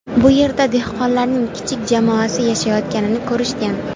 Bu yerda dehqonlarning kichik jamoasi yashayotganini ko‘rishgan.